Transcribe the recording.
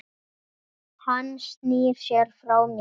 Hann snýr sér frá mér.